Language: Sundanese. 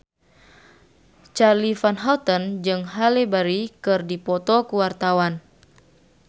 Charly Van Houten jeung Halle Berry keur dipoto ku wartawan